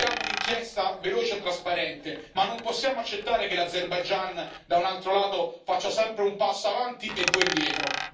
Chiediamo un'inchiesta veloce e trasparente, ma non possiamo accettare che l'Azerbaigian da un altro lato faccia sempre un passo avanti e due indietro.